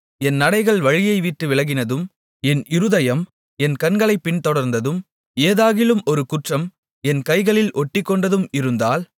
என் நடைகள் வழியைவிட்டு விலகினதும் என் இருதயம் என் கண்களைப் பின்தொடர்ந்ததும் ஏதாகிலும் ஒரு குற்றம் என் கைகளில் ஒட்டிக்கொண்டதும் இருந்தால்